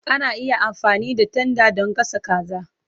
Ana iya amfani da tanda don gasa kaza.